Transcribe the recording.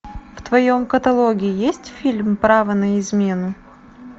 в твоем каталоге есть фильм право на измену